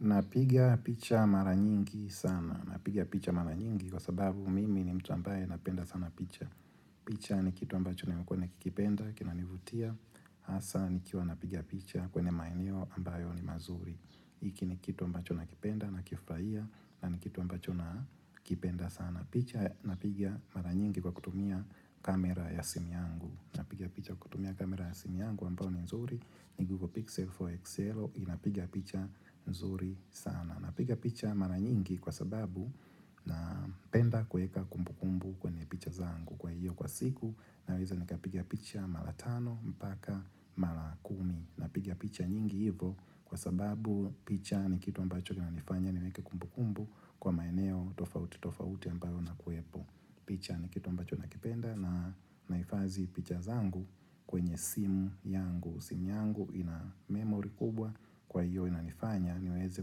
Napigia picha mara nyingi sana. Napiga picha mara nyingi kwa sababu mimi ni mtu ambaye napenda sana picha. Picha ni kitu ambacho nimkua nikikipenda kinanivutia. Hasasa nikiwa napigia picha kwenyr maeneo ambayo ni mazuri. Hiki ni kitu ambacho nakipenda, nakifurahia na ni kitu ambacho nakipenda sana. Napiga mara nyingi kwa kutumia kamera ya simu yangu. Napiga picha kutumia kamera ya sim yangu ambayo ni nzuri. Ni Google Pixel 4 XL inapigia picha nzuri sana. Napiga picha mara nyingi kwa sababu napenda kueka kumbukumbu kwenye picha zangu. Kwa hiyo kwa siku naweza nikapiga picha mara tano mpaka mara kumi. Napiga picha nyingi hivo kwa sababu picha ni kitu ambacho kinanifanya niweke kumbukumbu Kwa maeneo tofauti tofauti ambayo nakuepo. Picha ni kitu ambacho nakipenda na naifadhi picha zangu kwenye simu yangu. Simu yangu ina memory kubwa kwa hiyo inanifanya niweze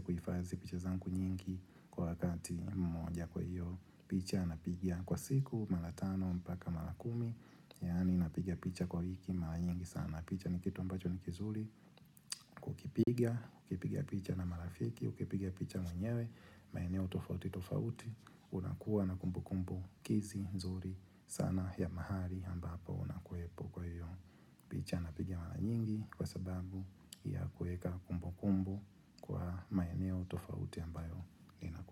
kuhifadhi picha zangu nyingi kwa wakati mmoja. Kwa hiyo picha napigia kwa siku mara tano mpaka mara kumi. Yani napigia picha kwa wiki mara nyingi sana. Picha ni kitu ambacho nikizuri Ukipiga picha na marafiki, ukipiga picha mwenyewe maeneo tofauti tofauti unakuwa na kumbukumbukizi nzuri sana ya mahali ambapo unakuepo kwa hiyo picha napigaa mara nyingi kwa sababu ya kueka kumbukumbu kwa maeneo tofauti ambayo ninakuepo.